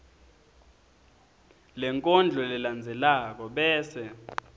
lenkondlo lelandzelako bese